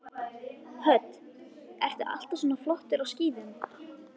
Hödd: Ertu alltaf svona flottur á skíðum?